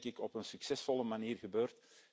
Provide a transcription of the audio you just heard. Dat is, denk ik, op een succesvolle manier gebeurd.